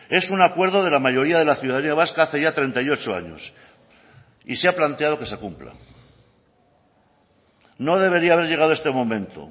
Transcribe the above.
es un acuerdo de la mayoría de la ciudadanía vasca hace ya treinta y ocho años y se ha planteado que se cumpla no debería haber llegado este momento